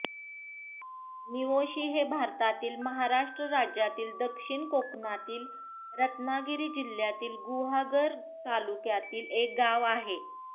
निवोशी हे भारतातील महाराष्ट्र राज्यातील दक्षिण कोकणातील रत्नागिरी जिल्ह्यातील गुहागर तालुक्यातील एक गाव आहे